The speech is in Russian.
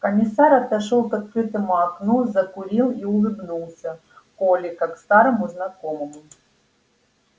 комиссар отошёл к открытому окну закурил и улыбнулся коле как старому знакомому